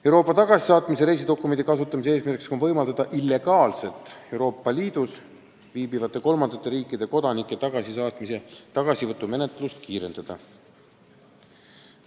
Euroopa tagasisaatmise reisidokumendi kasutamise eesmärk on võimaldada illegaalselt Euroopa Liidus viibivate kolmandate riikide kodanike tagasisaatmise ja tagasivõtu menetlust kiirendada.